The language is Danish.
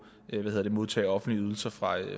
modtage offentlige ydelser fra